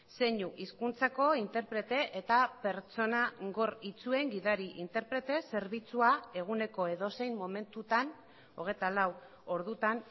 zeinu hizkuntzako interprete eta pertsona gor itsuen gidari interprete zerbitzua eguneko edozein momentutan hogeita lau ordutan